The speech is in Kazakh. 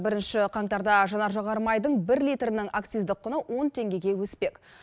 бірінші қаңтарда жанар жағармайдың бір литрінің акциздік құны он теңгеге өспек